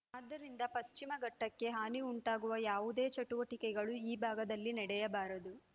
ಆದ್ದರಿಂದ ಪಶ್ಚಿಮಘಟ್ಟಕ್ಕೆ ಹಾನಿ ಉಂಟುಮಾಡುವ ಯಾವುದೇ ಚಟುವಟಿಕೆಗಳು ಈ ಭಾಗದಲ್ಲಿ ನಡೆಯಬಾರದು